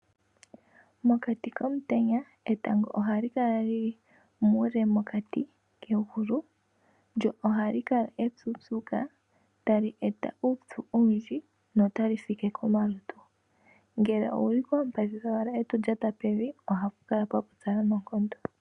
Mokati komutenya etango ohali kala lyili muule pokati kegulu lyo ohali kala upyuupyuka tali eta uupyu owundji notali like komalutu. Ngele owuli koompadhi kowala eto lyatapevi ohapu kala pwapupyala noonkondo.